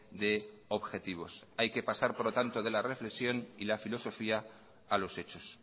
de objetivos hay que pasar por lo tanto de la reflexión y la filosofía a los hechos